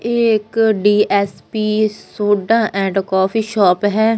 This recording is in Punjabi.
ਏਹ ਇੱਕ DSP soda and coffee shop ਹੈ।